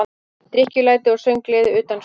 Drykkjulæti og sönggleði utan sviðs.